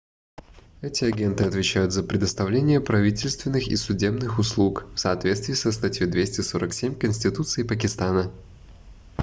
эти агенты отвечают за предоставление правительственных и судебных услуг в соответствии со статьей 247 конституции пакистана